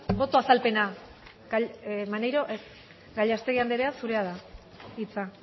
boto azalpena bai maneiro ez gallastegui anderea zurea da hitza